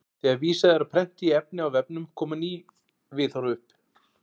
Þegar vísað er á prenti í efni á vefnum koma ný viðhorf upp.